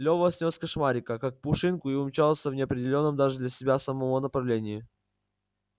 лёва снёс кошмарика как пушинку и умчался в неопределённом даже для себя самого направлении